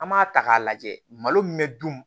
An b'a ta k'a lajɛ malo min bɛ dun